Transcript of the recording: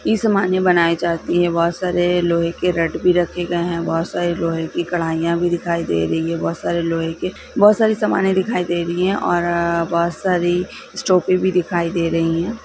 इस्मानी की सामानें बनाई जाती है बहुत सारे लोहे के नट भी रखे गए है बहुत सारी लोहे की कढाईया भी दिखाई दे रही है बहुत सारे लोहे के बहुत सारी सामाने दिखाई दे रही है और अअअअ बहुत सारी स्ट्रोपी भी दिखाई दे रही है।